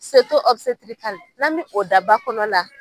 n'an min o daba kɔnɔ la.